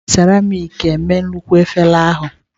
E ji seramiiki mee nnukwu efere ahụ.